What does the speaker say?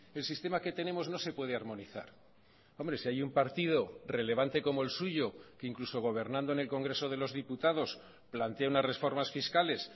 el sistema que tenemos no se puede armonizar hombre si hay un partido relevante como el suyo que incluso gobernando en el congreso de los diputados plantea unas reformas fiscales